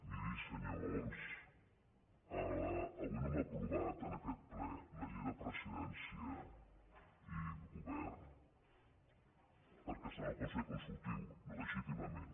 miri senyor homs avui no hem aprovat en aquest ple la llei de presidència i govern perquè està en el consell consultiu legítimament